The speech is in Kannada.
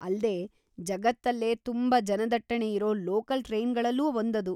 ಅಲ್ದೇ, ಜಗತ್ತಲ್ಲೇ ತುಂಬಾ ಜನದಟ್ಟಣೆ ಇರೋ ಲೋಕಲ್‌ ಟ್ರೈನ್‌ಗಳಲ್ಲೂ ಒಂದದು.